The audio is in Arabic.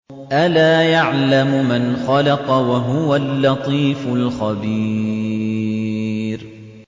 أَلَا يَعْلَمُ مَنْ خَلَقَ وَهُوَ اللَّطِيفُ الْخَبِيرُ